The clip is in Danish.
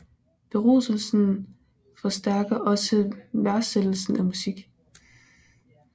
Beruselsen forstærker også værdsættelsen af musik